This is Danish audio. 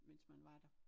Mens man var der